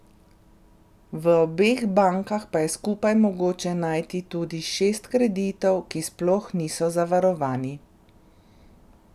V obeh bankah pa je skupaj mogoče najti tudi šest kreditov, ki sploh niso zavarovani.